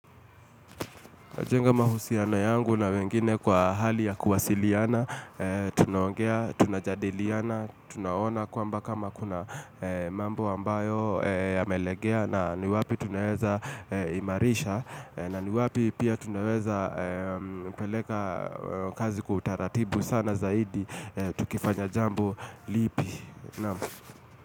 Jenga mahusiana yangu na wengine kwa hali ya kuwasiliana, tunaongea, tuna jadiliana, tunaona kwamba kama kuna mambo ambayo ya melegea na ni wapi tunaweza imarisha na ni wapi pia tunaweza peleka. Kazi kutaratibu sana zaidi, tukifanya jambu lipi.